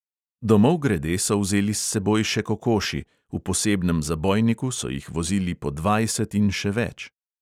Domov grede so vzeli s seboj še kokoši, v posebnem zabojniku so jih vozili po dvajset in še več.